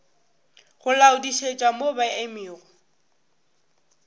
go laodišetša mo ba emego